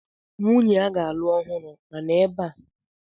Nwunye a ga-alụ ọhụrụ a nọ ebea?